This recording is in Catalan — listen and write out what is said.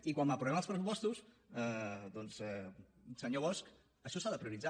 i quan aprovem els pressupostos doncs senyor bosch això s’ha de prioritzar